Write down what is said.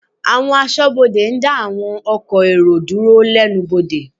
Àwọn Aṣọ́bodè ń dá àwọn ọkọ̀ èrò dúró lẹ́nu bodè